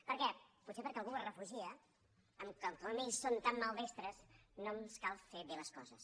per què potser perquè algú es refugia en el fet que com que ells són tan maldestres no ens cal fer bé les coses